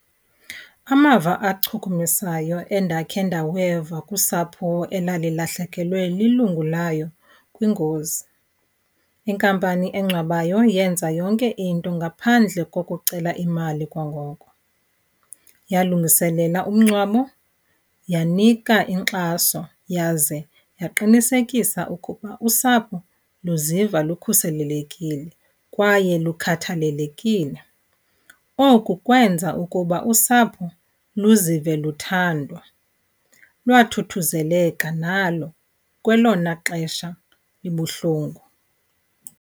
Amava achukumisayo endakhe ndaweva kusapho elalilahlekelwe lilungu layo kwingozi, inkampani engcwabayo yenza yonke into ngaphandle kokucela imali kwangoko. Yalungiselela umngcwabo, yanika inkxaso yaze yaqinisekisa ukuba usapho luziva lukhuselekile kwaye lukhathalelekile. Oku kwenza ukuba usapho luzive luthandwa. Lwathuthuzeleka nalo kwelona xesha libuhlungu.